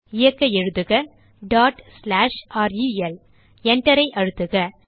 இயக்க எழுதுக rel Enter ஐ அழுத்துக